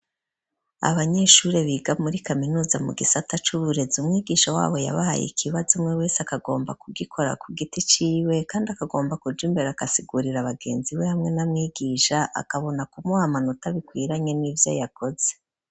Abanyeshuri biga muri Kaminuza mu gisata c'uburezi umwigisha wabo yabahaye ikibazo umwe wese akagomba kugikora ku giti ciwe kandi akagomba kuja imbere akasigurira abagenzi be hamwe n'amwigisha akabona kumuha amanota bikwiranye n'ivyo yakoze.